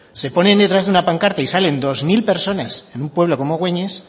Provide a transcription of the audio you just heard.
se ponen detrás de una pancarta y salen dos mil personas en un pueblo como gueñes